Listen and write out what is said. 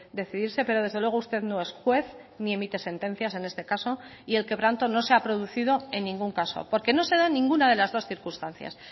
decidirse pero desde luego usted no es juez ni emite sentencias en este caso y el quebranto no se ha producido en ningún caso porque no se da ninguna de las dos circunstancias